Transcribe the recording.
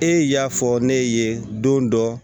E y'a fɔ ne ye don dɔ